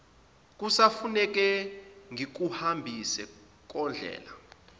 kusafuneka ngikuhambise kondlela